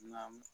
Namu